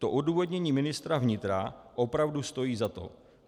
To odůvodnění ministra vnitra opravdu stojí za to.